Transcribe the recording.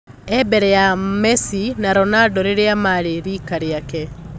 E-mbere ya Masi na Ronando rĩrĩa marĩ rika rĩake.